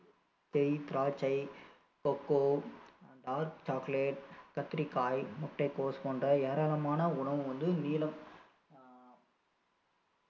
திராட்சை cocoa, dark chocolate கத்திரிக்காய், முட்டைகோஸ் போன்ற ஏராளமான உணவு வந்து நீலம் ஆஹ்